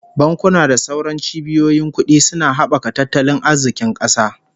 Bankuna da sauran cibiyoyin kudi suna habaka tattalin arzikin kasa